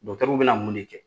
w bɛna mun de kɛ?